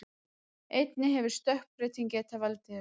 Einnig hefur stökkbreyting getað valdið þessu.